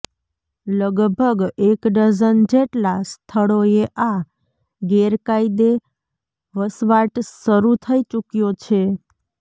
લગભગ એક ડઝન જેટલા સ્થળોએ આ ગેરકાયદે વસવાટ શરૂ થઈ ચૂક્યો છે